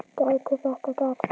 Gæti þetta gerst?